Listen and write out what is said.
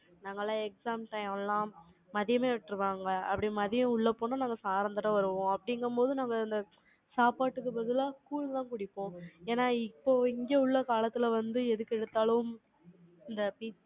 நாங்கெல்லாம், exam time எல்லாம், மதியமே விட்டுருவாங்க. அப்படி, மதியம் உள்ள போனா, நாங்க, சாரந்தரம் வருவோம். அப்படிங்கும்போது, நாங்க, இந்த, சாப்பாட்டுக்கு பதிலா, கூழ்தான் குடிப்போம். ஏன்னா, இப்போ, இங்க உள்ள காலத்துல வந்து, எதுக்கு எடுத்தாலும், இந்த pizza